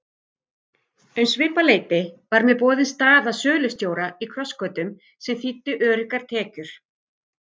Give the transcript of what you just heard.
Um svipað leyti var mér boðin staða sölustjóra í Krossgötum sem þýddi öruggar tekjur.